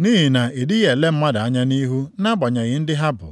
nʼihi na ị dịghị ele mmadụ anya nʼihu nʼagbanyeghị ndị ha bụ.